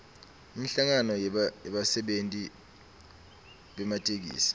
inhlangano yebasebenti bematekisi